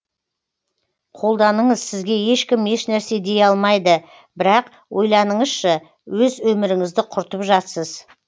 қолданыңыз сізге ешкім еш нәрсе дей алмайды бірақ ойланыңызшы өз өмірінізды құртып жатсыз